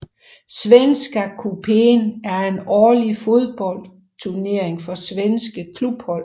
Svenska cupen er en årlig fodboldturnering for svenske klubhold